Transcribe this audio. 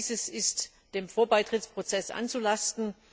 All dieses ist dem Vorbeitrittsprozess anzulasten.